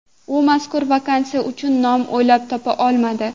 U mazkur vakansiya uchun nom o‘ylab topa olmadi.